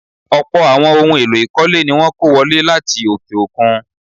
Ọlpọ̀ àwọn ohun-èèlò ìkọ́lé ní wọ́n kó wọlé láti òkè-òkun.